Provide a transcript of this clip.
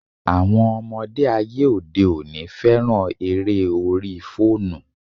Àwọn ọmọdé ayé òde òní féràn eré orí fóònù.